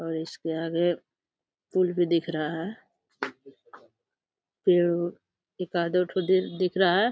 और इसके आगे पुल भी दिख रहा है। पेड़ एकादो ठो दिख रहा है।